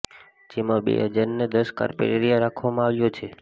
જેમાં બે હજારને દસ કાર્પેટ એરીયા રાખવામાં આવ્યો છે